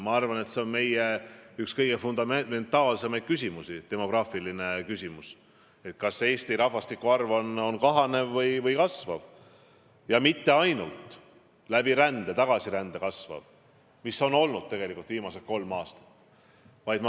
Ma arvan, et demograafiline küsimus on üks meie kõige fundamentaalsemaid küsimusi: kas Eesti rahvastiku arv kahaneb või kasvab ja kui kasvab, siis kas mitte ainult tänu tagasirändele ja muule sisserändele, nagu on viimased kolm aastat olnud.